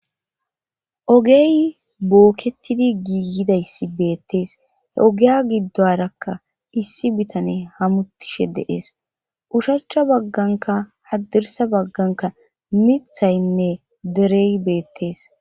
ogey bookketidi giigidayssi beettees he ogiya giddoarakka issi bitane hamutishe deees ushachcha bagganka hadirsa bagganka mithaynne derey beettees